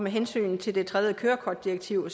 hensyn til det tredje kørekortdirektiv